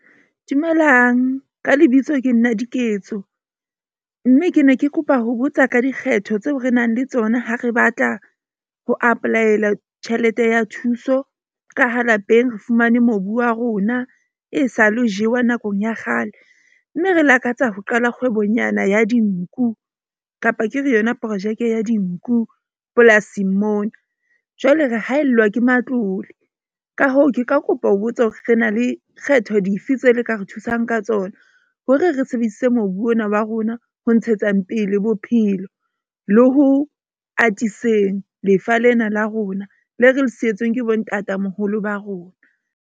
Dumelang ka lebitso ke nna Diketso. Mme ke ne ke kopa ho botsa ka dikgetho tseo re nang le tsona ha re batla ho apply-ela tjhelete ya thuso. Ka ha lapeng re fumane mobu wa rona, e sa le ho jewa nakong ya kgale. Mme re lakatsa ho qala kgwebonyana ya dinku kapa ke re yona projeke ya dinku polasing mona. Jwale re haellwa ke matlole, ka hoo, ke ka kopa ho botsa hore re na le kgetho dife tse le ka re thusang ka tsona. Hore re sebedise mobu ona wa rona ho ntshetsa mpele bophelo le ho atiseng lefa lena la rona. Le re le sietsweng ke bo ntatamoholo ba rona.